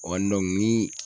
ni